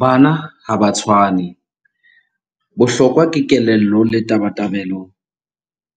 Bana ha ba tshwane. Bohlokwa ke kelello le tabatabelo,